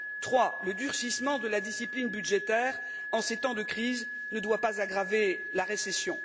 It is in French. Troisièmement, le durcissement de la discipline budgétaire, en ces temps de crise, ne doit pas aggraver la récession.